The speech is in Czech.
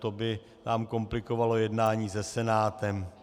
To by nám komplikovalo jednání se Senátem.